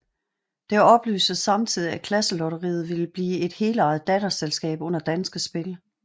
Det oplyses samtidig at Klasselotteriet vil blive et helejet datterselskab under Danske Spil